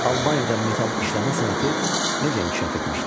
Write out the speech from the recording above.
Albaniyada metalı işləmə sənəti necə inkişaf etmişdi?